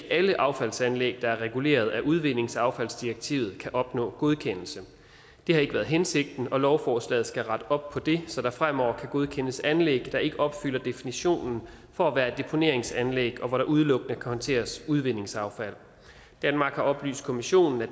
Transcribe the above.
er alle affaldsanlæg der er reguleret af udvindingsaffaldsdirektivet der kan opnå godkendelse det har ikke været hensigten og lovforslaget skal rette op på det så der fremover kan godkendes anlæg der ikke opfylder definitionen for at være et deponeringsanlæg og hvor der udelukkende håndteres udvindingsaffald danmark har oplyst kommissionen at